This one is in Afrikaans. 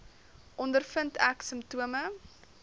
ondervind ek simptome